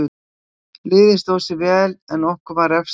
Liðið stóð sig vel en okkur var refsað fyrir mistök.